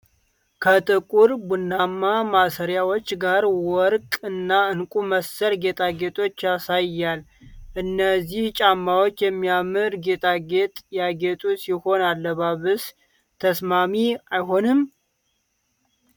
ከጥቁር ቡናማ ማሰሪያዎች ጋር ወርቅ እና ዕንቁ መሰል ጌጣጌጦችን ያሳያል፤ እነዚህ ጫማዎች የሚያምር ጌጣጌጥ ያጌጡ ሲሆን ለአለባበስ ተስማሚ አይሆኑም ?